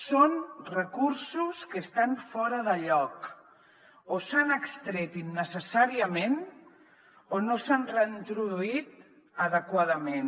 són recursos que estan fora de lloc o s’han extret innecessàriament o no s’han reintroduït adequadament